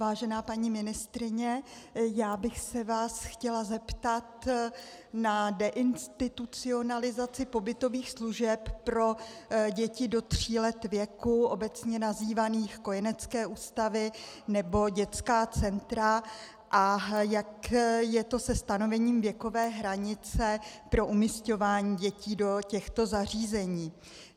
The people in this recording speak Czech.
Vážená paní ministryně, já bych se vás chtěla zeptat na deinstitucionalizaci pobytových služeb pro děti do tří let věku, obecně nazývaných kojenecké ústavy nebo dětská centra, a jak je to se stanovením věkové hranice pro umisťování dětí do těchto zařízení.